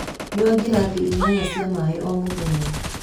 Nyua ngirathi inyanya cia maĩ o mũthenya.